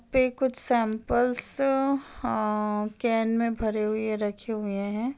पे कुछ सैंपल्स अंहां कैन में भरे हुए रखे हुए हैं।